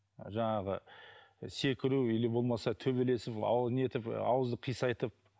жаңағы секіру или болмаса төбелесіп не етіп ауызды қисайтып